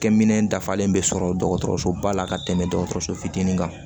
Kɛ minɛn dafalen bɛ sɔrɔ dɔgɔtɔrɔso ba la ka tɛmɛ dɔgɔtɔrɔso fitinin kan